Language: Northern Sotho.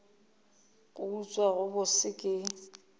go utswa go bose ke